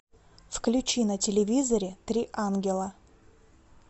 включи на телевизоре три ангела